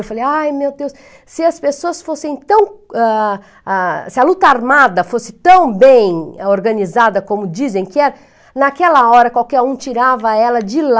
Eu falei, ai meu Deus, se as pessoas fossem tão, ah, ah, se a luta armada fosse tão bem organizada como dizem que era, naquela hora qualquer um tirava ela de lá.